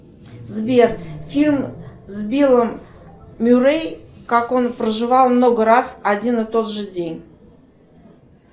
сбер фильм с биллом мюррей как он проживал много раз один и тот же день